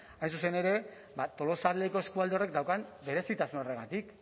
hain zuzen ere tolosaldeko eskualde horrek daukan berezitasun horregatik